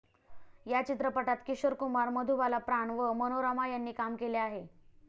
या चित्रपटात किशोर कुमार, मधुबाला, प्राण व मनोरमा यांनी काम केले आहे.